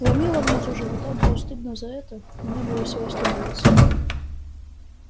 ломило внизу живота было стыдно за это и не было сил остановиться